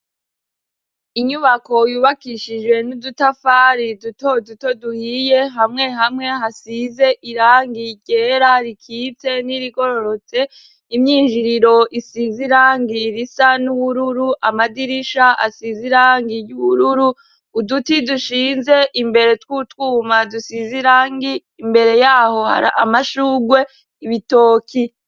Inyubako yubakishije n'udutafari dutoduto duhiye hamwe hamwe hasize irangiye irera rikipse n'irigororotse imyinjiriro isiz irangira isa n'uwururu amadirisha asize irangiye uwururu uduti dushinze imbere tw'utwubue mazusizirangi imbere yaho hari amashugwe ibitoki.